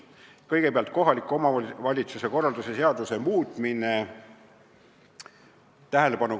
Kõigepealt, kohaliku omavalitsuse korralduse seaduse muutmine.